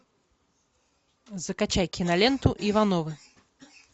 закачай киноленту ивановы